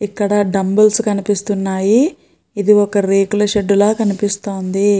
ఇక్కడ డంబెల్స్ కనిపిస్తున్నాయి. ఇది ఒక రేకుల షెడ్ లా కనిపిస్తుంది.